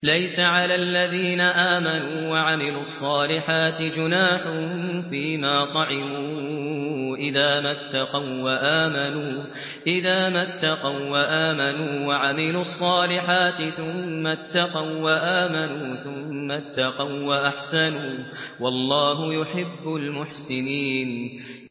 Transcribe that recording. لَيْسَ عَلَى الَّذِينَ آمَنُوا وَعَمِلُوا الصَّالِحَاتِ جُنَاحٌ فِيمَا طَعِمُوا إِذَا مَا اتَّقَوا وَّآمَنُوا وَعَمِلُوا الصَّالِحَاتِ ثُمَّ اتَّقَوا وَّآمَنُوا ثُمَّ اتَّقَوا وَّأَحْسَنُوا ۗ وَاللَّهُ يُحِبُّ الْمُحْسِنِينَ